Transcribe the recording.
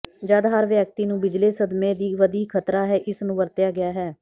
ਜਦ ਹਰ ਵਿਅਕਤੀ ਨੂੰ ਬਿਜਲੀ ਸਦਮੇ ਦੀ ਵਧੀ ਖ਼ਤਰਾ ਹੈ ਇਸ ਨੂੰ ਵਰਤਿਆ ਗਿਆ ਹੈ